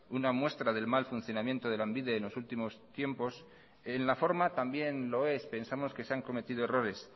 una muestra del mal funcionamiento de lanbide en los últimos tiempos en la forma también lo es pensamos que se han cometido errores